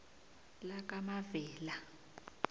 lakamavela